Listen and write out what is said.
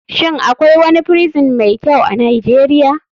Shin akwai wani prison mai kyau a nijeria?